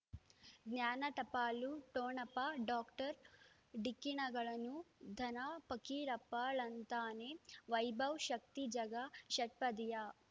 ಜ್ಞಾನ ಟಪಾಲು ಠೊಣಪ ಡಾಕ್ಟರ್ ಢಿಕ್ಕಿ ಣಗಳನು ಧನ ಫಕೀರಪ್ಪ ಳಂತಾನೆ ವೈಭವ್ ಶಕ್ತಿ ಝಗಾ ಷಟ್ಪದಿಯ